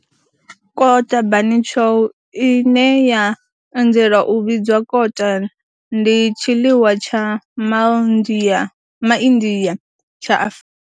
Kota, bunny chow, ine ya anzela u vhidzwa kota, ndi tshiḽiwa tsha MA India tsha Afrika.